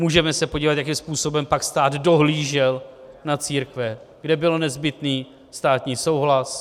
Můžeme se podívat, jakým způsobem pak stát dohlížel na církve, kde byl nezbytný státní souhlas.